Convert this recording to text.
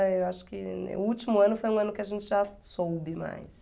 Eh, eu acho que o último ano foi um ano que a gente já soube mais.